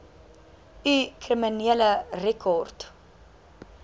u kriminele rekord